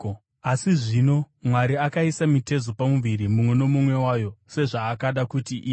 Asi zvino Mwari akaisa mitezo pamuviri, mumwe nomumwe wayo, sezvaakada kuti ive.